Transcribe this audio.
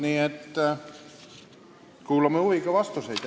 Nii et kuulame huviga vastuseid.